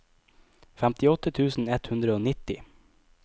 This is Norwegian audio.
femtiåtte tusen ett hundre og nitti